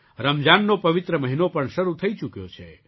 રમઝાનનો પવિત્ર મહિનો પણ શરૂ થઈ ચૂક્યો છે